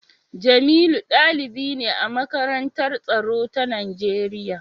Jamiu dalibi ne a Makarantar Tsaro ta Najeriya